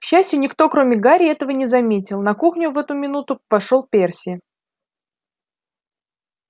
к счастью никто кроме гарри этого не заметил на кухню в эту минуту вошёл перси